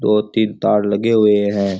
दो तीन तार लगे हुए हैं।